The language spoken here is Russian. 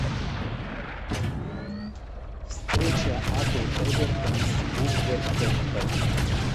встреча апл эвертон с вулверхэмптоном